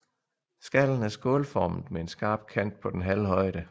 Skallen er skålformet med en skarp kant på den halve højde